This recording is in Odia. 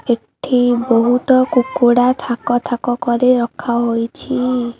ଏଠି ବହୁତ କୁକୁଡ଼ା ଥାକ ଥାକ କରି ରଖା ହୋଇଛି।